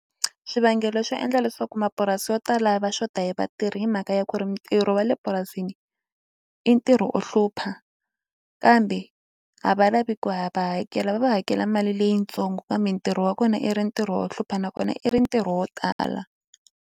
Swivangelo swo endla leswaku mapurasi yo tala va xota hi vatirhi i mhaka ya ku ri mitirho wa le purasini i ntirho o hlupha kambe a va lavi ku ya va hakela va va hakela mali leyitsongo kambe ntirho wa kona i ri ntirho wo hlupha nakona i ri ntirho wo tala.